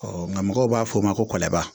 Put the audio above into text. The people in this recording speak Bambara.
nka mɔgɔw b'a fɔ o ma ko kɔɲɔba